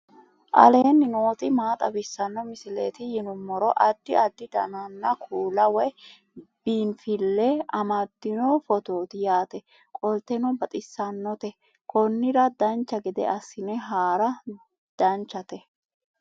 aleenni nooti maa xawisanno misileeti yinummoro addi addi dananna kuula woy biinsille amaddino footooti yaate qoltenno baxissannote konnira dancha gede assine haara danchate